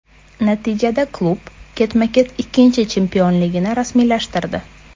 Natijada klub ketma-ket ikkinchi chempionligini rasmiylashtirdi.